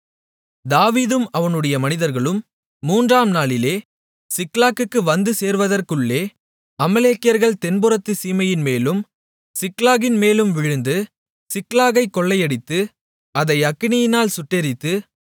தாவீதும் அவனுடைய மனிதர்களும் மூன்றாம் நாளிலே சிக்லாகுக்கு வந்து சேருவதற்குள்ளே அமலேக்கியர்கள் தென்புறத்துச் சீமையின்மேலும் சிக்லாகின்மேலும் விழுந்து சிக்லாகைக் கொள்ளையடித்து அதை அக்கினியால் சுட்டெரித்து